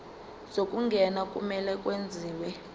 zokungena kumele kwenziwe